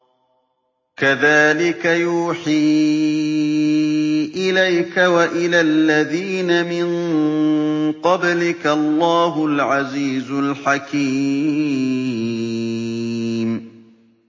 كَذَٰلِكَ يُوحِي إِلَيْكَ وَإِلَى الَّذِينَ مِن قَبْلِكَ اللَّهُ الْعَزِيزُ الْحَكِيمُ